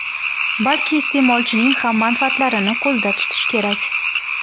balki iste’molchining ham manfaatlarini ko‘zda tutish kerak.